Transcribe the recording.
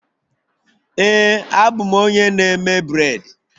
Ee a bụ m onye na-eme bred